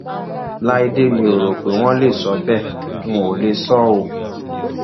láìdè mí o rò pé wọn lè sọ bẹẹ wọn ò lè sọ ọ